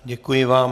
Děkuji vám.